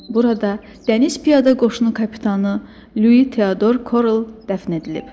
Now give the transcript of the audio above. Burada Dəniz Piyada Qoşunu kapitanı Lui Teador Korl dəfn edilib.